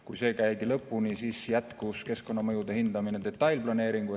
Kui see käidi lõpuni, siis jätkus keskkonnamõjude hindamine detailplaneeringuga seoses.